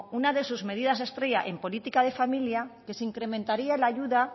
una de sus medidas estrella en política de familia que se incrementaría la ayuda